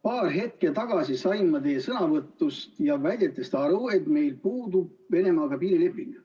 Paar hetke tagasi sain ma teie sõnavõtust ja väidetest aru, et meil puudub Venemaaga piirileping.